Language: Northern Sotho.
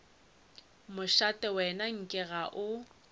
mošate wena nke ga o